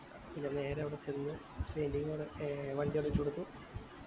പിന്നെ നേരെ അവിടെ ചെന്ന് painting ന് അവിടെ വണ്ടി അവിടെ വച്ച് കൊടുത്തു